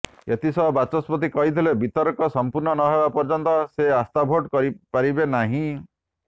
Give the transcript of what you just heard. ଏଥିସହ ବାଚସ୍ପତି କହିଥିଲେ ବିତର୍କ ସମ୍ପୂର୍ଣ୍ଣ ନହେବା ପର୍ଯ୍ୟନ୍ତ ସେ ଆସ୍ଥାଭୋଟ୍ କରିପାରିବେ ନାହିଁ